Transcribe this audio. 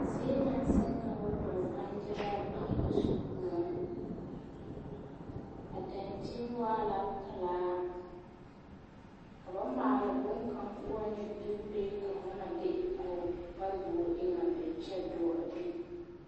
Zie naŋ seŋ ka o dɔɔ bangyeraa bee a so koɔ a dankyini waa la pelaa ka ba maala bonkaŋ k,o waa nyɛ dogelee ka fo na de a fo parebogi eŋ a be kyɛ dɔɔ a bini.